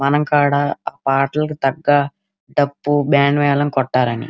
మనం కడ పాటలు తక్క డబ్బు బ్యాండ్ మేళం కొట్టాలని --